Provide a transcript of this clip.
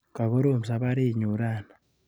Kakorom safarinyun rani.